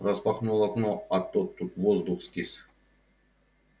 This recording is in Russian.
распахнул окно а то тут воздух скис